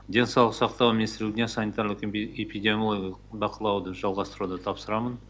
денсаулық сақтау министрлігіне санитарлық эпидемиологиялық бақылауды жалғастыруды тапсырамын